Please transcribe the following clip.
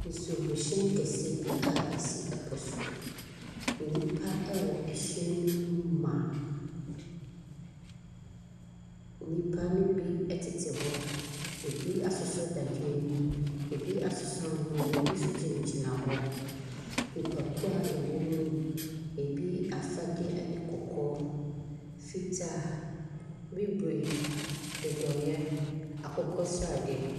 Nsuo mu kɛseɛ bi a esi ɛpo so. Nnipa ɛwɔ ɛhyɛn no mu ma. Nnipa ne bi ɛtete hɔ. Ebi asosɔ dadeɛ nim. Ebi asosɔ ahoma nim. Ebi so gyina gyina hɔ. Nnipakuw a ɛwom mu ebi afadeɛ ɛyɛ kɔkɔɔ, fitaa, bibire, dodoeɛ, akokɔsrade.